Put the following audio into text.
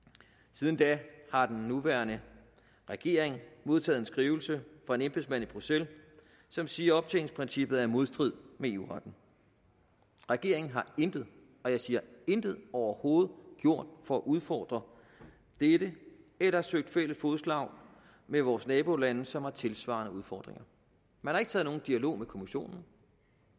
siden da har den nuværende regering modtaget en skrivelse fra en embedsmand i bruxelles som siger at optjeningsprincippet er i modstrid med eu retten regeringen har intet og jeg siger intet overhovedet gjort for at udfordre dette eller søge fælles fodslag med vores nabolande som har tilsvarende udfordringer man har ikke taget nogen dialog med kommissionen